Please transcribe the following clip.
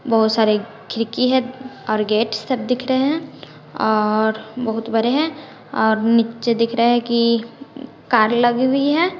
बहुत सारे खिड़की हैं और गेट सब दिख रहे हैं और बहुत बड़े हैं और नीचे दिख रहा है कि कार लगी हुई है।